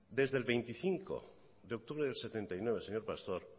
desde el veinticinco de octubre del setenta y nueve señor pastor